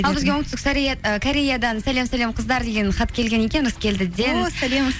ал бізге оңтүстік і кореядан сәлем сәлем қыздар деген хат келген екен ырыскелдіден